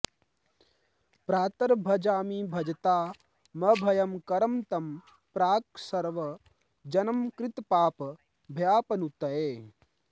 प्रातर्भजामि भजता मभयं करं तं प्राक् सर्व जन्म कृत पाप भयापनुत्यै